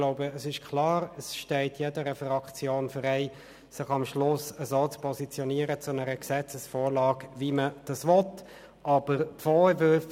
Natürlich steht es jeder Fraktion frei, sich am Schluss so zu einer Gesetzesvorlage zu positionieren, wie sie will.